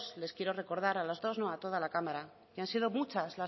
les quiero recordar a las dos no a toda la cámara que han sido muchas